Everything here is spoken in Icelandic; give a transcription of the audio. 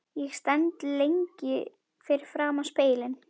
Ég stend lengi fyrir framan spegilinn.